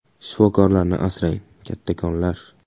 Shifokorlarni asrang, kattakonlar ”.